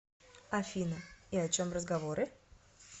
афина и о чем разговоры